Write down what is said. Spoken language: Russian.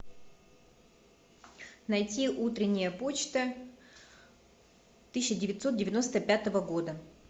найти утренняя почта тысяча девятьсот девяносто пятого года